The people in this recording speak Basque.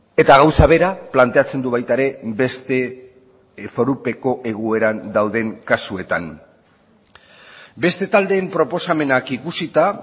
eta gauza bera planteatzen du baita ere beste forupeko egoeran dauden kasuetan beste taldeen proposamenak ikusita